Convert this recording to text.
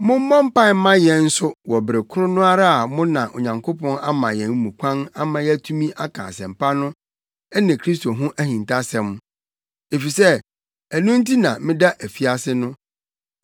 Mommɔ mpae mma yɛn nso wɔ bere koro no ara mu na Onyankopɔn ama yɛn mu kwan ama yɛatumi aka Asɛmpa no ne Kristo ho ahintasɛm. Efisɛ ɛno nti na meda afiase no.